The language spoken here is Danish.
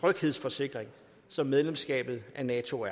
tryghedsforsikring som medlemskabet af nato